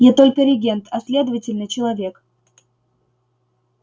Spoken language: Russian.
я только регент а следовательно человек